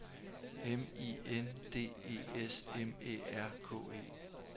M I N D E S M Æ R K E